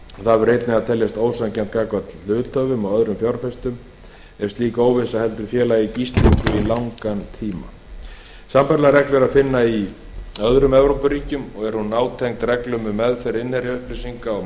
það verður einnig að teljast ósanngjarnt gagnvart hluthöfum og öðrum fjárfestum ef slík óvissa heldur félagi í gíslingu í langan tíma sambærilega reglu er að finna í öðrum evrópuríkjum og er hún nátengd reglum um meðferð innherjaupplýsinga og